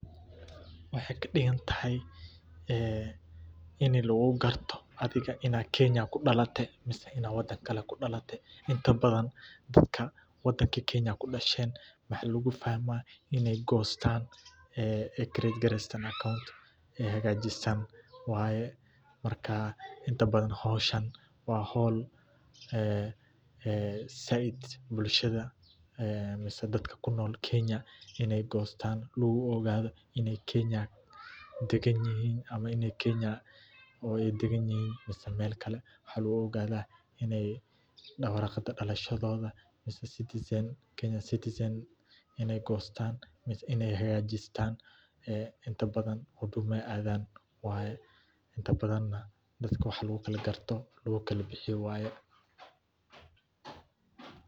Waxey kadhigantahay ee inii lagu garto adiga inaa Kenya kudhalatay mise inaa wadan kale kudhalatay inta badan qofka wadanka Kenya kudhasheen waxa lagu fahmaa iney Gostan ee a credit granting account ee hagajistan wayee marka inta badan hawshaan wa hawl ee saiid bulshadaa ee mise dadka kunol Kenya iney Gostan logu ogaado iney Kenya dagan yahiin ama iney Kenya oo ey dagan yahiin mise meel kale waxa lagu ogadaa iney warqada dhalashadoda Kenya citizen iney Gostan mise iney hagajistan ee inta badan hudumaa ey adaan wayee inta badan na dadka waxa lagu Kala garto lagu kale bixiyo wayee .